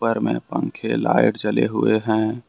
अंदर में पंखे लाइट जले हुए हैं।